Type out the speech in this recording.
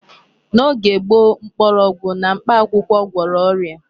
N'oge gboo, mkpọrọgwụ na mkpakwụkwọ gwọrọ ọrịa.